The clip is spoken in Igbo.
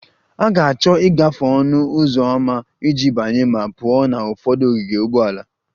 A ga-achọ ịgafe ọnụ ụzọ ámá iji banye ma pụọ na ụfọdụ ogige ụgbọala